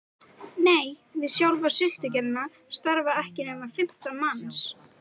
Nei, við sjálfa sultugerðina starfa ekki nema fimmtán manns